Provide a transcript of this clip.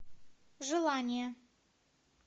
желание